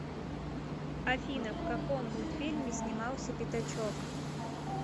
афина в каком мультфильме снимался пяточок